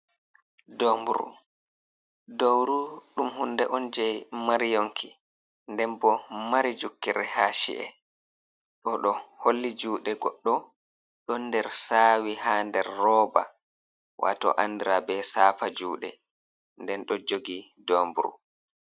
Domburu, dowru ɗum hunde on jey mari yonki, nden bo mari jukkire haa ci’e, Ɗo ɗo holli juuɗe goɗɗo, ɗon nder saawi haa nder rooba, waato anndra be saafa juuɗe, nden ɗo jogi domburu.